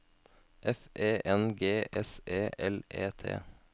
F E N G S E L E T